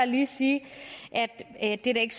lige sige at det da ikke